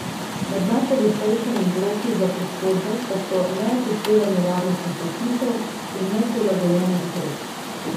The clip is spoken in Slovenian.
Med najpogostejšimi vzroki za poškodbe pa so neupoštevanje varnostnih predpisov in neprilagojena hitrost.